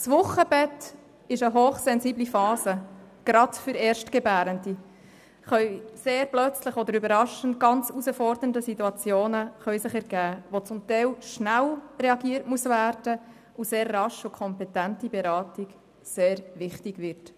Das Wochenbett ist eine hochsensible Phase, gerade für erstgebärende Frauen, da sich überraschend sehr herausfordernde Situationen ergeben können, in denen zum Teil sehr schnell reagiert werden muss, und wo rasche und kompetente Beratung sehr wichtig wird.